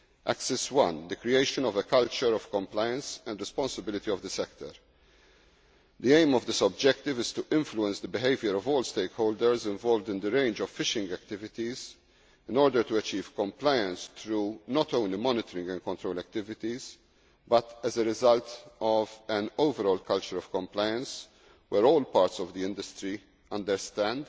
Axis 1 the creation of a culture of compliance and responsibility of the sector. The aim of this objective is to influence the behaviour of all stakeholders involved in the wide range of fishing activities in order to achieve compliance through not only monitoring and control activities, but as a result of an overall culture of compliance where all parts of the industry understand